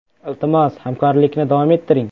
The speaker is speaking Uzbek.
Iltimos, hamkorlikni davom ettiring.